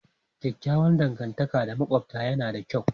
Kyakkyawar dangantaka da makwabta yana da kyau.